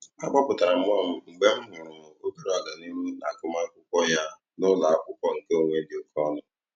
A kpọpụtara m nwa m mgbe m hụtara obere agamnihu n'agụmamwkụkwọ ya n'ụlọakwụkwọ nke onwe dị oke ọnụ.